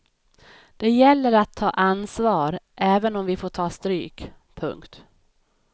Det gäller att ta ansvar även om vi får ta stryk. punkt